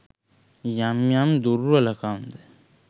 යම් යම් දුර්වළ කම් ද